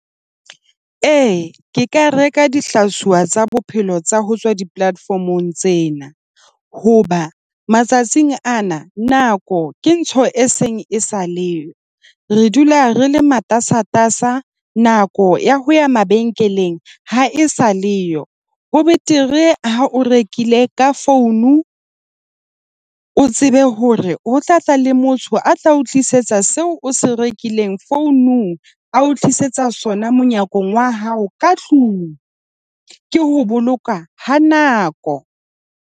E, ke ka reka dihlaiswa tsa bophelo tsa ho tswa di-platform-ong tsena. Hoba matsatsing ana, nako ke ntho e seng e sa leyo. Re dula re le matasatasa. Nako ya ho ya mabenkeleng ha e sa le yo. Ho betere ha o rekile ka founu, o tsebe hore o tla tla le motho a tla o tlisetsa seo o se rekileng founung, a o tlisetsa sona monyakong wa hao ka tlung. Ke ho boloka ha nako.